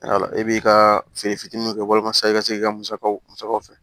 e b'i ka feere fitinin mun kɛ walasa i ka se k'i ka musakaw musakaw fɛ